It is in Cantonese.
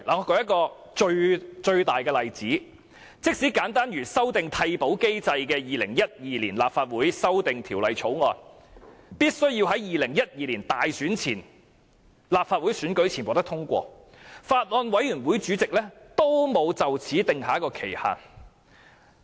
我舉例說明，即使修訂替補機制的《2012年立法會條例草案》，必須在2012年立法會選舉前獲得通過，有關法案委員會的主席仍沒有訂定審議限期。